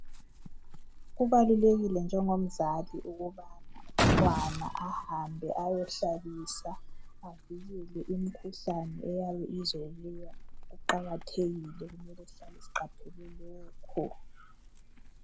Kubalulekile njengomzali ukubana umntwana ahambe ayohlabisa, avikele imkhuhlane eyabe izobuya. Kuqakathekile kumele sihlale siqaphele lokho.